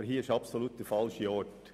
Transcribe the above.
Aber hier ist wirklich der falsche Ort.